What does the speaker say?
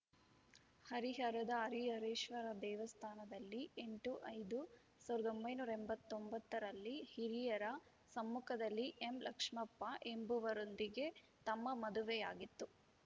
ಹರಿಹರದ ಹರಿಹರೇಶ್ವರ ದೇವಸ್ಥಾನದಲ್ಲಿ ಎಂಟು ಐದು ಸಾವಿರದ ಒಂಬೈನೂರ ಎಂಬತ್ತ್ ಒಂಬತ್ತ ರಲ್ಲಿ ಹಿರಿಯರ ಸಮ್ಮುಖದಲ್ಲಿ ಎಂಲಕ್ಷ್ಮಪ್ಪ ಎಂಬುವರೊಂದಿಗೆ ತಮ್ಮ ಮದುವೆಯಾಗಿತ್ತು